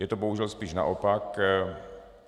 Je to bohužel spíš naopak.